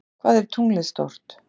Hvað er tunglið stórt?